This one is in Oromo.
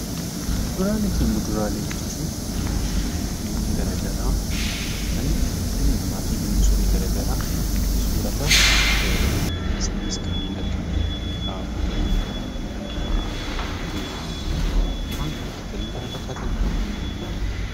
Kuduraalee fi muduraaleen jechuun gosoota biqilootaa kan dhalli namaa fi bineensonni garaagaraa soorataaf itti fayyadamanidha. Isaanis kanneen akka raafuu, timaatima, maangoo fi kanneen kana fakkaatanidha